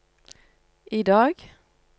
idag